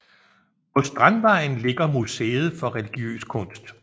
På Strandvejen ligger Museet for Religiøs Kunst